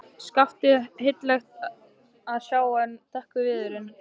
Skaftið heillegt að sjá en dökkur viðurinn.